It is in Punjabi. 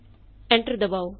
ਐਂਟਰ ਦਬਾਉ